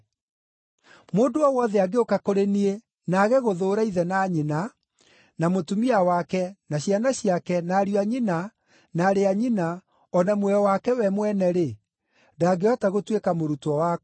“Mũndũ o wothe angĩũka kũrĩ niĩ na aage gũthũũra ithe na nyina, na mũtumia wake, na ciana ciake, na ariũ a nyina, na aarĩ a nyina, o na muoyo wake we mwene-rĩ, ndangĩhota gũtuĩka mũrutwo wakwa.